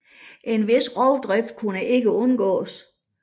En vis rovdrift kunne ikke undgås